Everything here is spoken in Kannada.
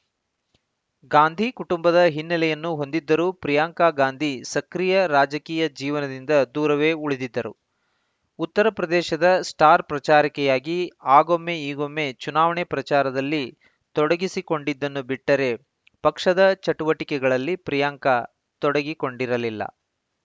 ಗಾಂಧಿ ಕುಟುಂಬದ ಹಿನ್ನೆಲೆಯನ್ನು ಹೊಂದಿದ್ದರೂ ಪ್ರಿಯಾಂಕಾ ಗಾಂಧಿ ಸಕ್ರಿಯ ರಾಜಕೀಯ ಜೀವನದಿಂದ ದೂರವೇ ಉಳಿದಿದ್ದರು ಉತ್ತರ ಪ್ರದೇಶದ ಸ್ಟಾರ್‌ ಪ್ರಚಾರಕಿಯಾಗಿ ಆಗೊಮ್ಮೆ ಈಗೊಮ್ಮೆ ಚುನಾವಣೆ ಪ್ರಚಾರದಲ್ಲಿ ತೊಡಗಿಸಿಕೊಂಡಿದ್ದನ್ನು ಬಿಟ್ಟರೆ ಪಕ್ಷದ ಚುಟುವಟಿಕೆಗಳಲ್ಲಿ ಪ್ರಿಯಾಂಕಾ ತೊಡಗಿಕೊಂಡಿರಲಿಲ್ಲ